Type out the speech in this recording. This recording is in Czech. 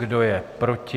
Kdo je proti?